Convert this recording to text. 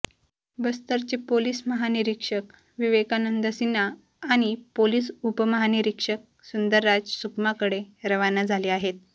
बस्तरचे police महानिरीक्षक विकेकानंद सिन्हा आणि police उपमहानिरीक्षक सुंदरराज सुकमाकडे रवाना झाले आहेत